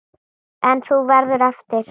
En þú verður eftir.